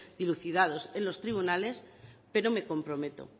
dilucidados en los tribunales pero me comprometo